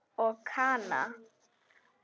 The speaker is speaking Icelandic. Og Kana?